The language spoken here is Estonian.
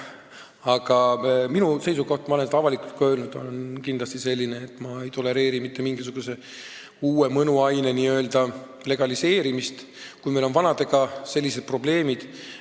Aga minu seisukoht, mida ma olen ka avalikult öelnud, on kindlasti selline, et ma ei tolereeri mitte mingisuguse uue mõnuaine n-ö legaliseerimist, kui meil on vanadegagi sellised probleemid.